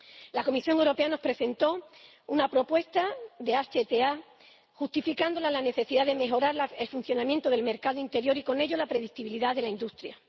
La Comisión Europea nos presentó una propuesta de HTA, justificándola en la necesidad de mejorar el funcionamiento del mercado interior y con ello la predictibilidad de la industria.